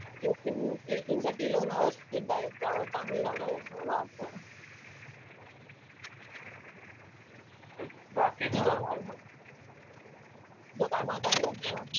Trekking, ट्रेकिंगसाठी लोणावळा सुध्दा एक चांगली जागा आहे असं मला वाटतं. तुझं काय, तुझं काय मत आहे याच्यावर?